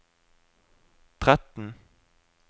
tretten